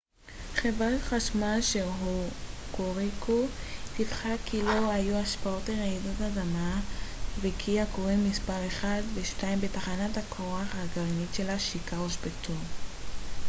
חברת החשמל של הוקוריקו דיווחה כי לא היו השפעות לרעידת האדמה וכי הכורים מספר 1 ו-2 בתחנת הכוח הגרעינית שלה שיקה הושבתו